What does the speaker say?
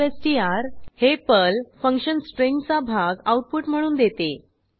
substr हे Perl function स्ट्रिंगचा भाग आऊटपुट म्हणून देते